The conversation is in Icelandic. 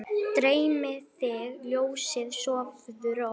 Dreymi þig ljósið, sofðu rótt!